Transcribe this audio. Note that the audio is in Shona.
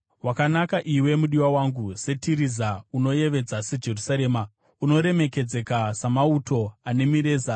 Wakanaka iwe mudiwa wangu, seTiriza, unoyevedza seJerusarema, unoremekedzeka samauto ane mireza.